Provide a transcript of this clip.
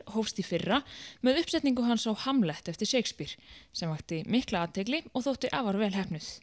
hófst í fyrra með uppsetningu hans á eftir Shakespeare sem vakti mikla athygli og þótti afar vel heppnuð